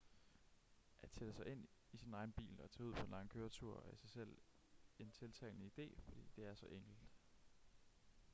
at sætte sig ind i sin egen bil og tage ud på en lang køretur er i sig selv en tiltalende idé fordi det er så enkelt